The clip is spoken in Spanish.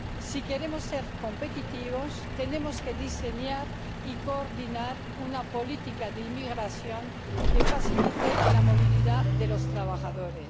Si queremos ser competitivos, tenemos que diseñar y coordinar una política de inmigración que facilite la movilidad de los trabajadores.